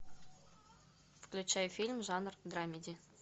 включай фильм жанр драмеди